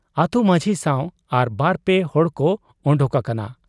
ᱟᱹᱛᱩ ᱢᱟᱺᱡᱷᱤ ᱥᱟᱶ ᱟᱨ ᱵᱟᱨᱯᱮ ᱦᱚᱲᱠᱚ ᱚᱰᱚᱠ ᱟᱠᱟᱱᱟ ᱾